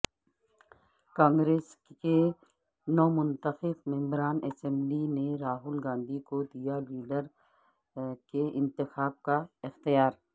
کانگریس کے نومنتخب ممبران اسمبلی نے راہل گاندھی کو دیا لیڈر کے انتخاب کا اختیار